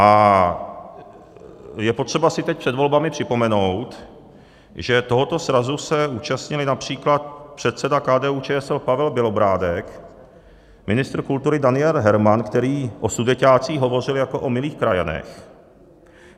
A je potřeba si teď před volbami připomenout, že tohoto srazu se účastnili například předseda KDU-ČSL Pavel Bělobrádek, ministr kultury Daniel Herman, který o sudeťácích hovořil jako o milých krajanech.